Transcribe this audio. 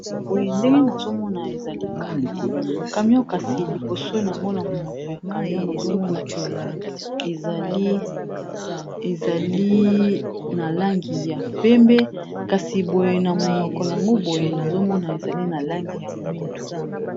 Boye Ndenge nazomona eza camion, camion kasi ezali nalangi ya pembe kasi boye na monoko nango boye eza na langi ya moyindo.